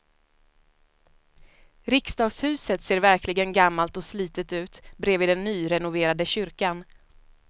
Riksdagshuset ser verkligen gammalt och slitet ut bredvid den nyrenoverade kyrkan.